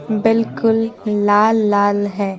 बिल्कुल लाल लाल है।